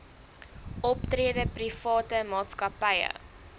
optrede private maatskappye